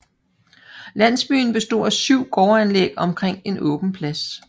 Landsbyen bestod af syv gårdanlæg omkring en åben plads